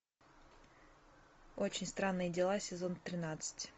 очень странные дела сезон тринадцать